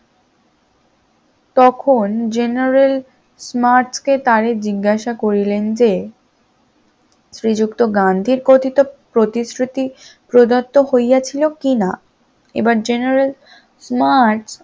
তখন general কে মাঠ কে তারে জিজ্ঞাসা করিলেন যে শ্রীযুক্ত গান্ধী কথিত প্রতিশ্রুতি প্রদত্ত হইয়াছিল কিনা? এবার general মার্ট